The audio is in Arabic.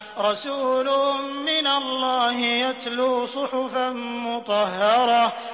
رَسُولٌ مِّنَ اللَّهِ يَتْلُو صُحُفًا مُّطَهَّرَةً